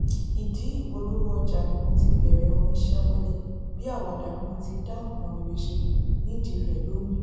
ìdí ìpolówó ọjà ni mo ti bẹrẹ orin sẹńwẹlì bíi àwàdà mo ti dá nǹkan rere ṣe nídìí rẹ lónìí